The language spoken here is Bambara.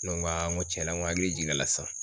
Ne ko aa nko tiɲɛ na n ko hakili jiginna a la sisan